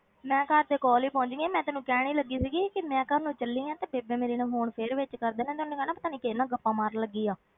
ਮੈਂ ਘਰ ਦੇ ਕੋਲ ਪਹੁੰਚ ਗਈ ਹਾਂ ਮੈਂ ਤੈਨੂੰ ਕਹਿਣ ਹੀ ਲੱਗੀ ਸੀਗੀ ਕਿ ਮੈਂ ਘਰ ਨੂੰ ਚੱਲੀ ਹਾਂ ਤੇ ਬੇਬੇ ਮੇਰੀ ਨੇ phone ਫਿਰ ਵਿੱਚ ਕਰ ਦੇਣਾ, ਉਹਨੇ ਕਹਿਣਾ ਪਤਾ ਨੀ ਕਿਹਦੇ ਨਾਲ ਗੱਪਾਂ ਮਾਰਨ ਲੱਗੀ ਆ।